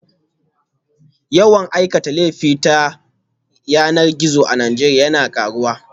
Yawan aikata laifuka ta yanar gizo a Najeriya yana karuwa